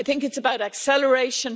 It's about acceleration